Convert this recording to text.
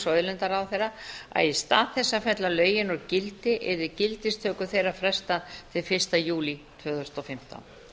auðlindaráðherra að í stað þess að fella lögin úr gildi yrði gildistöku þeirra frestað til fyrsta júlí tvö þúsund og fimmtán